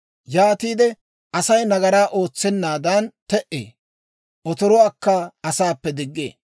Yaatiide Asay nagaraa ootsennaadan te"ee; otoruwaakka asaappe diggee.